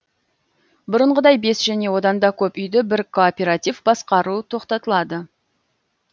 бұрынғыдай бес және одан да көп үйді бір кооператив басқару тоқтатылады